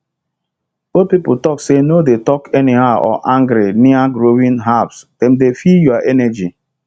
old people talk say no dey talk anyhow or angry near growing herbsdem dey feel your energy